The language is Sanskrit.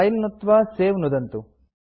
फिले नुत्त्वा सवे नुदन्तु